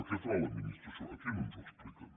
què farà l’administració aquí no ens ho expliquen